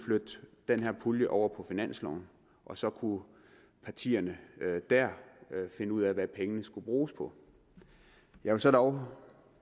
flytte den her pulje over på finansloven og så kunne partierne finde ud af hvad pengene skulle bruges på jeg vil så dog